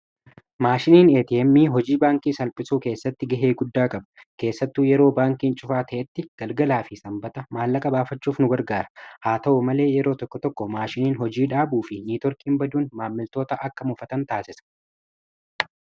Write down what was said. Maashiniin eeti emmii hojii baankii salphisuu keessatti gahee guddaa qaba keessattu yeroo baankiin cufaa ta'etti galgalaa fi sanbata maallaqa baafachuuf nu gargaara haa ta'u malee yeroo tokko tokko maashiniin hojii dhaabuu fi niitoorkiin baduun maammiltoota akka mufatan taasisa.